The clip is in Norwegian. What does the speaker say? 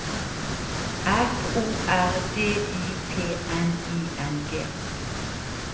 F O R D Y P N I N G